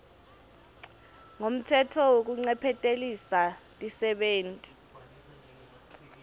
ngumtsetfo wekuncephetelisa tisebenti